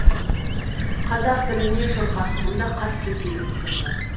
қазақ тіліне шорқақтығым да қатты сезіліп тұрды